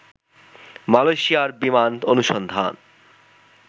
মালয়েশিয়ার বিমান অনুসন্ধান